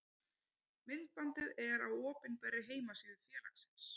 Myndbandið er á opinberri heimasíðu félagsins.